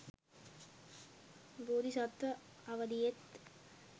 බෝධි සත්ව අවධියෙත්